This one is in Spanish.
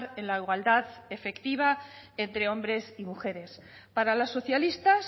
en la igualdad efectiva entre hombres y mujeres para los socialistas